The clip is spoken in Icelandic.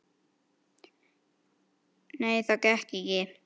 Nei, það gekk ekki.